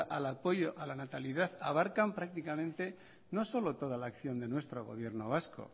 al apoyo a la natalidad abarcan prácticamente no solo toda la acción de nuestro gobierno vasco